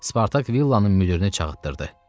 Spartak villanın müdirini çağıtdırdı.